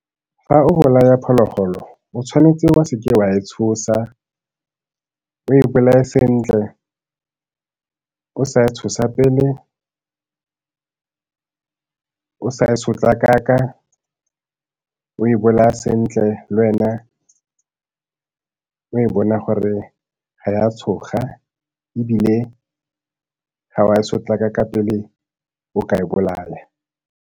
Fa o bolaya phologolo, o tshwanetse wa se ke wa e tshosa, o e bolae sentle o sa e tshosa pele o sa e sotlakaka, o e bolaya sentle le wena o e bona gore ga ya tshoga e bile ga wa sotlakaka pele o ka e bolaya.